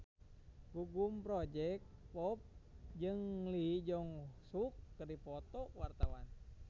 Gugum Project Pop jeung Lee Jeong Suk keur dipoto ku wartawan